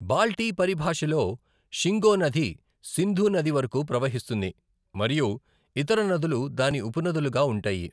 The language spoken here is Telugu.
బాల్టీ పరిభాషలో షింగో నది సింధు నది వరకు ప్రవహిస్తుంది మరియు ఇతర నదులు దాని ఉపనదులుగా ఉంటాయి.